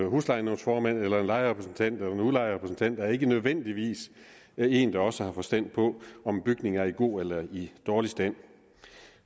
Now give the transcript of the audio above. huslejenævnsformand eller en lejerrepræsentant eller en udlejerrepræsentant er ikke nødvendigvis en der også har forstand på om bygninger er i god eller dårlig stand